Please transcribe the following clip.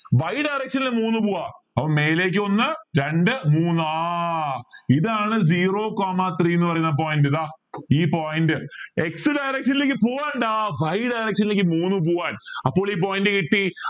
y direction ൽ മൂന്ന് പോവാം അപ്പോ മേലേക്ക് ഒന്ന് രണ്ട് മൂന്ന് ആഹ് ഇതാണ് zero coma three എന്ന് പറയുന്ന point ഇതാ ഈ point x direction ലേക്ക് പോവണ്ട y direction ലേക്ക് മൂന്ന് പോവാൻ അപ്പോൾ ഈ point കിട്ടി